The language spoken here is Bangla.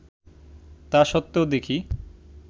তা সত্ত্বেও দেখি